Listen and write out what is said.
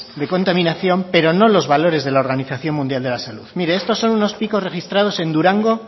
de contaminación pero no los valores de la organización mundial de la salud mire estos son unos picos registrados en durango